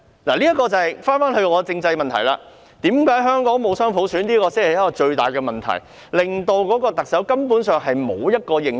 箇中原因便要回到政制問題上，香港仍未實行雙普選才是最大的問題，令特首根本沒有認受性。